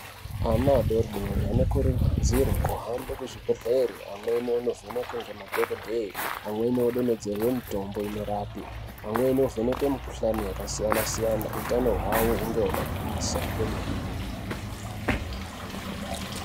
Ana adodori anokurudzirwe kuhambe kuzvibhehlere amweni anovhenekwe ngemadhokodheye amweni anodonhererwe mitombo inorape amweni anovhenekwe mikhulani yakasiyana -siyana utano hwawo hunge hwakagwinyisa kwemene.